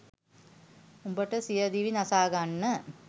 උඹට සියදිවි නසා ගන්න